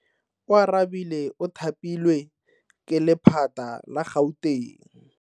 Oarabile o thapilwe ke lephata la Gauteng.